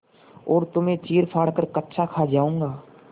और तुम्हें चीरफाड़ कर कच्चा खा जाऊँगा